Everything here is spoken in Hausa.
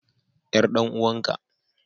Yar dan uwanka.